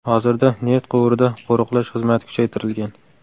Hozirda neft quvurida qo‘riqlash xizmati kuchaytirilgan.